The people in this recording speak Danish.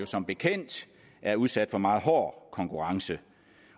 som bekendt er udsat for meget hård konkurrence